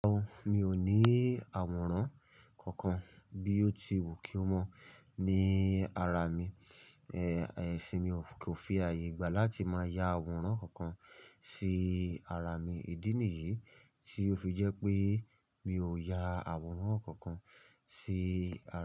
Rárá o, mi ò ní àwòrán kankan bí ó ti wù kí ó mọ̀ ní ara mi. Ẹ̀sìn mi kò fi ààyè gbà láti máa ya àwòrán kankan sí ara mi. Ìdí nìyí tí ó fi jẹ́ pé mi ò ya àwòrán kankan sí.